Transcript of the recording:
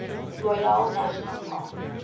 royale national park